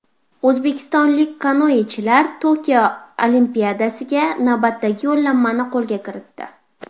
O‘zbekistonlik kanoechilar Tokio Olimpiadasiga navbatdagi yo‘llanmani qo‘lga kiritdi.